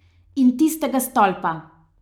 In tistega stolpa.